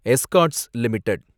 Escorts limited